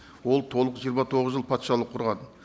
ол толық жиырма тоғыз жыл патшалық құрған